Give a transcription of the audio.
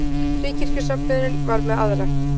Fríkirkjusöfnuðurinn var með aðra.